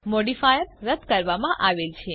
modifier રદ કરવામાં આવેલ છે